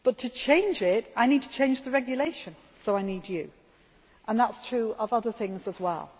up like that. But to change it I need to change the regulation so I need you, and that is true of other things